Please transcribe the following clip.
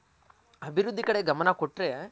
ಅಭಿವೃದ್ದಿ ಕಡೆ ಗಮನ ಕೊಟ್ರೆ